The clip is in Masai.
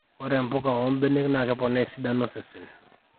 ore mpuka oo mbenek naa keponaa esidano osesen